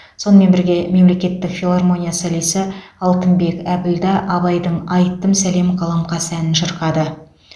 сонымен бірге мемлекеттік филармония солисі алтынбек әбілда абайдың айттым сәлем қаламқас әнін шырқады